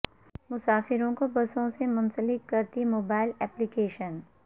مسافروں کو بسوں سے منسلک کرتی موبائل ایپلی کیشن